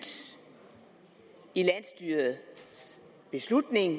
i landsstyrets beslutning